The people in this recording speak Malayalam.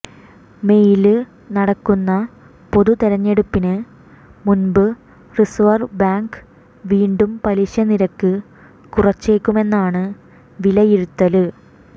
മേയില് നടക്കുന്ന പൊതു തെരഞ്ഞെടുപ്പിന് മുന്പ് റിസര്വ് ബാങ്ക് വീണ്ടും പലിശ നിരക്ക് കുറച്ചേക്കുമെന്നാണ് വിലയിരുത്തല്